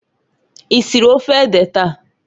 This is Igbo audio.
Isiri ofe ede taa?